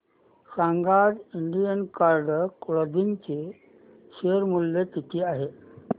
सांगा आज Indian card clothing चे शेअर मूल्य किती आहे